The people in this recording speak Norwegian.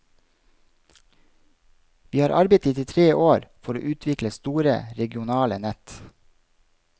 Vi har arbeidet i tre år for å utvikle store regionale nett.